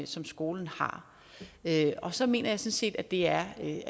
som skolen har og så mener jeg sådan set at det er et